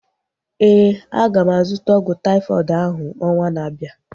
Éè, aga m azụta ọgwụ taifọdụ ahu ọnwa na-abịa